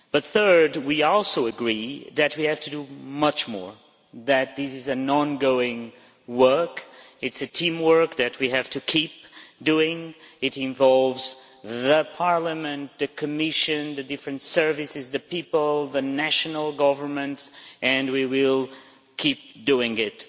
Thirdly, we also agree that we have to do much more, that this is ongoing work, teamwork that we have to keep doing, and it involves Parliament, the Commission, the various services, the people and the national governments, and we will keep doing it.